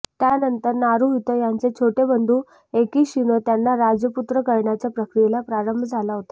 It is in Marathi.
त्यानंतर नारुहितो यांचे छोटे बंधू एकीशीनो त्यांना राजपुत्र करण्याच्या प्रक्रियेला प्रारंभ झाला होता